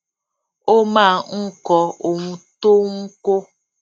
ó máa ń kọ ohun tó ń kó